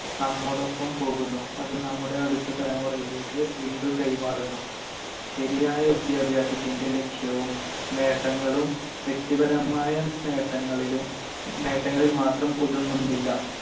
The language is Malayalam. നമ്മോടൊപ്പം പോകുന്നു, അത് നമ്മുടെ അടുത്ത തലമുറയിലേക്ക് വീണ്ടും കൈമാറുന്നു. ശരിയായ വിദ്യാഭ്യാസത്തിന്‍റെ ലക്ഷ്യവും നേട്ടങ്ങളും വ്യക്തിപരമായ നേട്ടങ്ങളിലും~ നേട്ടങ്ങളിൽ മാത്രം ഒതുങ്ങുന്നില്ല.